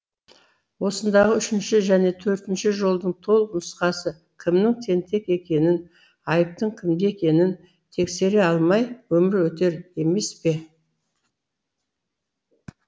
осындағы үшінші және төртінші жолдың толық нұсқасы кімнің тентек екенін айыптың кімде екенін тексере алмай өмір өтер емес пе